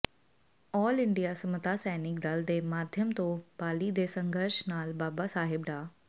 ਆਲ India Samta Sainik Dal ਦੇ ਮਾਧਿਅਮ ਤੋਂ ਬਾਲੀ ਦੇ ਸੰਘਰਸ਼ ਨਾਲ ਬਾਬਾ ਸਾਹਿਬ ਡਾ